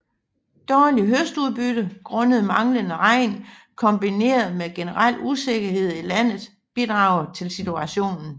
Dårligt høstudbytte grundet manglende regn kombineret med generel usikkerhed i landet bidrager til situationen